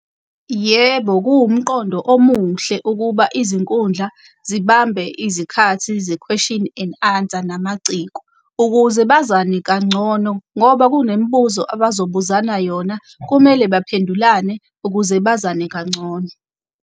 Yebo, kuwumqondo omuhle ukuba izinkundla zibambe izikhathi ze-question and answer namaciko. Ukuze bazane kangcono ngoba kunemibuzo abazobuzana yona. Kumele baphendulane ukuze bazane kangcono.